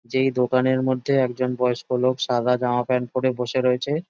যেই দোকানের মধ্যে একজন বয়স্ক লোক সাদা জামা প্যান্ট পরে বসে রয়েছে ।